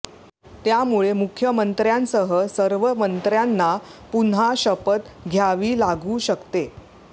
त्यामुळे मुख्यमंत्र्यांसह सर्व मंत्र्यांना पुन्हा शपथ घ्यावी लागू शकते